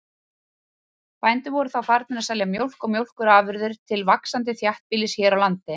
Bændur voru þá farnir að selja mjólk og mjólkurafurðir til vaxandi þéttbýlis hér á landi.